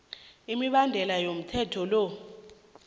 imibandela yomthetho lo